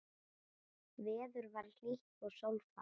Veður var hlýtt og sólfar.